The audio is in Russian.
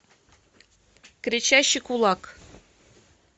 кричащий кулак